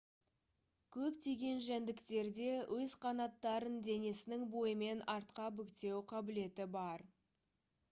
көптеген жәндіктерде өз қанаттарын денесінің бойымен артқа бүктеу қабілеті бар